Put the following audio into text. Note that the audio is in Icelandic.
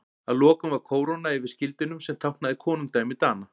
Að lokum var kóróna yfir skildinum sem táknaði konungdæmi Dana.